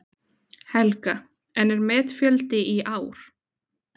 Helga: En er metfjöldi í ár?